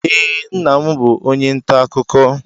Ee, nna m bụ onye nta akụkọ.